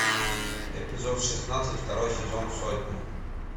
эпизод шестнадцать второй сезон сотня